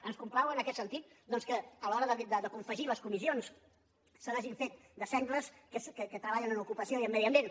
ens complau en aquest sentit doncs que a l’hora de confegir les comissions se n’hagin fet de sengles que treballen en ocupació i en medi ambient